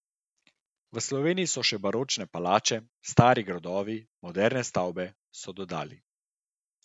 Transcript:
V Sloveniji so še baročne palače, stari gradovi, moderne stavbe, so dodali.